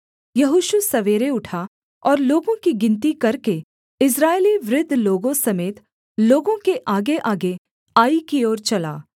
यहोशू सवेरे उठा और लोगों की गिनती करके इस्राएली वृद्ध लोगों समेत लोगों के आगेआगे आई की ओर चला